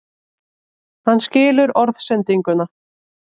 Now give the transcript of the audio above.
Hann skilur orðsendinguna.